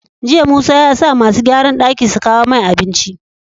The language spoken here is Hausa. Jiya musa yasa masu gyaran daki su kawo mai abinci